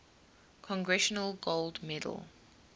congressional gold medal